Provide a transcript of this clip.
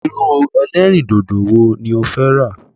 Irú ẹlẹ́rìndòdò wo ni ó fẹ́ rà?